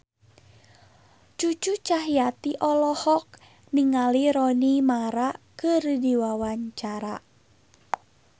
Cucu Cahyati olohok ningali Rooney Mara keur diwawancara